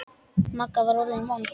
Magga var orðin vond.